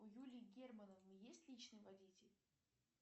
у юли германовны есть личный водитель